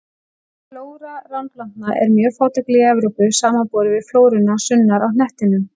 Flóra ránplantna er mjög fátækleg í Evrópu, samanborið við flóruna sunnar á hnettinum.